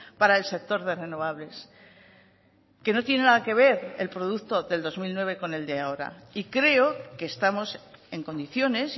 para el sector de renovables que no tiene nada que ver el producto del dos mil nueve con el de ahora y creo que estamos en condiciones